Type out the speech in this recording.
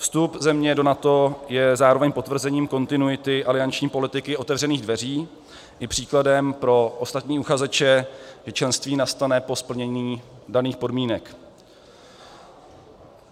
Vstup země do NATO je zároveň potvrzením kontinuity alianční politiky otevřených dveří i příkladem pro ostatní uchazeče, že členství nastane po splnění daných podmínek.